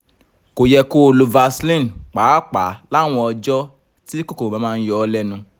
kò yẹ kó o lo vaseline pàápàá láwọn ọjọ́ tí kòkòrò bá máa yọ ọ́ lẹ́nu